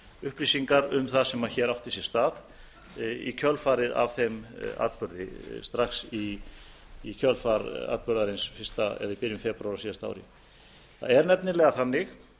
upplýsingar um það sem hér átti sér stað í kjölfarið á þeim atburði strax í kjölfar atburðarins í byrjun febrúar á síðasta ári það er nefnilega þannig